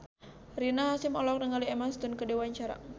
Rina Hasyim olohok ningali Emma Stone keur diwawancara